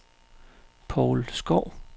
Paul Skov